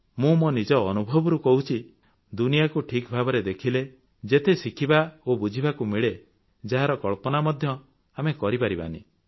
ମୁଁ ମୋ ନିଜ ଅନୁଭବରୁ କହୁଛି ଦୁନିଆକୁ ଠିକ୍ ଭାବରେ ଦେଖିଲେ ଯେତେ ଶିଖିବା ଓ ବୁଝିବାକୁ ମିଳେ ଯାହାର କଳ୍ପନା ମଧ୍ୟ ଆମେ କରିପାରିବା ନାହିଁ